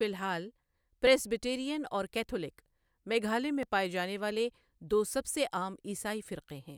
فی الحال، پریسبیٹیرین اور کیتھولک میگھالیہ میں پائے جانے والے دو سب سے عام عیسائی فرقے ہیں۔